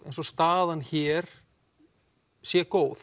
eins og staðan hér sé góð